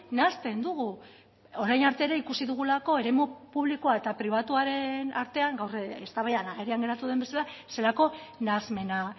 nahasten dugu orain arte ere ikusi dugulako eremu publikoa eta pribatuaren artean gaur eztabaidan agerian geratu den bezala zelako nahasmena